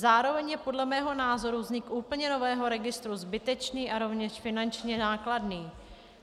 Zároveň je podle mého názoru vznik úplně nového registru zbytečný a rovněž finančně nákladný.